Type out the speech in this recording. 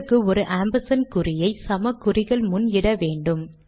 அதற்கு ஒரு ஆம்பர்சாண்ட் குறியை சமக் குறிகள் முன் இட வேண்டும்